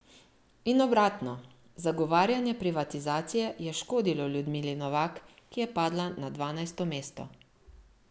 In obratno, zagovarjanje privatizacije je škodilo Ljudmili Novak, ki je padla na dvanajsto mesto.